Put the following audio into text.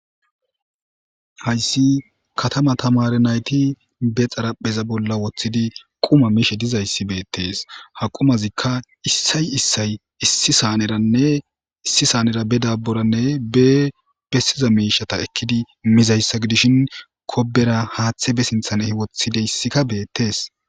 hayssi katama tamare nayti be xarapheza bolla woththidi quma miishe dizayssi beettees haqumazikka issay issay issi saaneranne issi saanera be dabburanne be bessiza miishata ekkidi mizayssa gidishin kobera haaththe be sinthan ehi woththideyssikka beettees